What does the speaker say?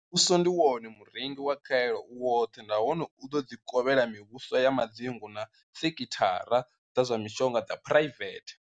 Muvhuso ndi wone murengi wa khaelo u woṱhe nahone u ḓo dzi kovhela mivhuso ya madzingu na sekhithara dza zwa mishonga dza phuraivethe.